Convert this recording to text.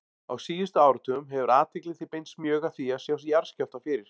Á síðustu áratugum hefur athygli því beinst mjög að því að sjá jarðskjálfta fyrir.